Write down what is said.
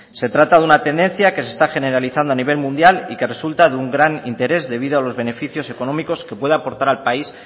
se trata de una tendencia que se está generalizando a nivel mundial y que resulta de un gran interés debido a los beneficios económicos que pueda aportar al país